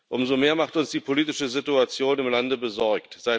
Umso mehr macht uns die politische Situation im Lande besorgt.